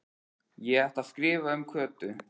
Ég ætla að skrifa um Kötu